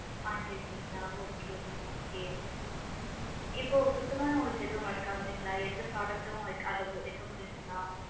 வாங்கி இருகிங்களா! okay mam okay hmm இப்போ சுத்தமாவே எதுவும் உங்களுக்கு work ஆகலைன்களா எந்த product டும் அதுல வைக்க முடியளைன்களா?